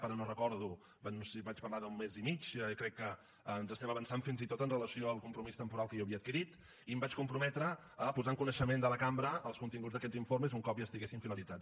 ara no ho recordo no sé si vaig parlar d’un mes i mig crec que ens estem avançant fins i tot amb relació al compromís temporal que jo havia adquirit i em vaig comprometre a posar en coneixement de la cambra els continguts d’aquests informes un cop ja estiguessin finalitzats